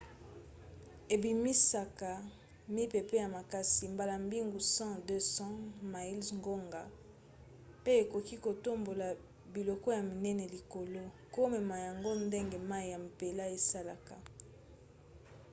ebimisaka mipepe ya makasi mbala mingi 100-200 miles/ngonga pe ekoki kotombola biloko ya minene likolo komema yango ndenge mai ya mpela esalaka